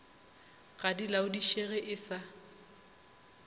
ga di laodišege e sa